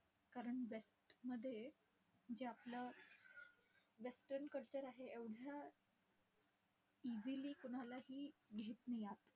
कारण west मध्ये जे आपलं western culture आहे, एवढ्या easily कोणालाही घेत नाही आत.